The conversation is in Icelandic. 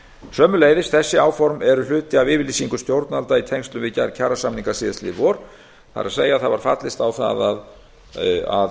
sömuleiðis eru þessi áform hluti af yfirlýsingu stjórnvalda í tengslum við gerð kjarasamninga í vor það er það var fallist á það að